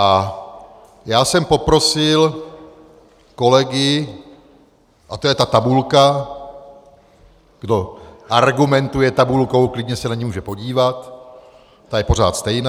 A já jsem poprosil kolegy, a to je ta tabulka , kdo argumentuje tabulkou, klidně se na ni může podívat, ta je pořád stejná.